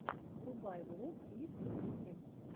врубай влог лиски китти